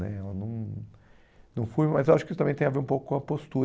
né eu não não fui mas eu acho que isso também tem a ver um pouco com a postura.